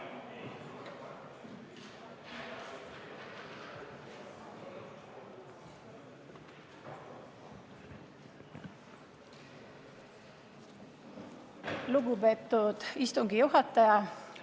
Lugupeetud istungi juhataja!